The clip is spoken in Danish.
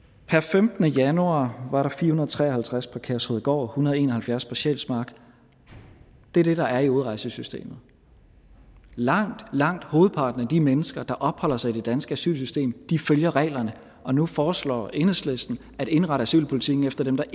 femtende januar var der fire hundrede og tre og halvtreds på kertrudegård en hundrede og en og halvfjerds på sjælsmark det er det der er i udrejsesystemet langt langt hovedparten af de mennesker der opholder sig i det danske asylsystem følger reglerne nu foreslår enhedslisten at indrette asylpolitikken efter dem der